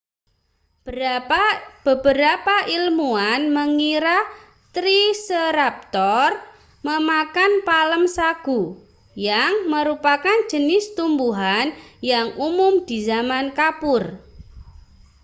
beberapa ilmuwan mengira triceratop memakan palem sagu yang merupakan jenis tumbuhan yang umum di zaman kapur